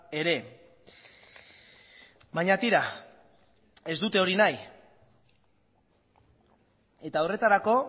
ere baina tira ez dute hori nahi eta horretarako